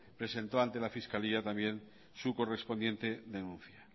presentó ante la fiscalía también su correspondiente denuncia